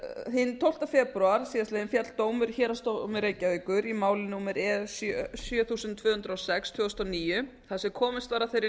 hinn tólfta febrúar síðastliðinn féll dómur í héraðsdómi reykjavíkur í máli númer e sjö þúsund tvö hundruð og sex tvö þúsund og níu þar sem komist var að þeirri